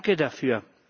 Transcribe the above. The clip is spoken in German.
Danke dafür!